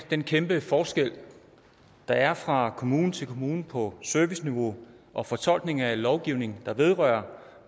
den kæmpe forskel der er fra kommune til kommune på serviceniveau og fortolkning af lovgivning der vedrører